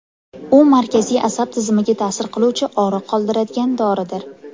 U markaziy asab tizimiga ta’sir qiluvchi og‘riq qoldiradigan doridir.